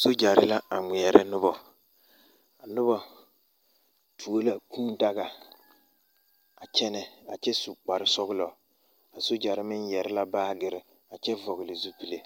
Soogyɛre la a ŋmeɛrɛ noba a noba tuo la kūūdaga a kyɛnɛ a kyɛ su kparesɔglɔ a soogyɛre meŋ yɛre la baagere a kyɛ vɔgle zupile